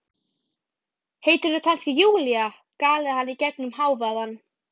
Heitirðu kannski Júlía? galaði hann í gegnum hávaðann.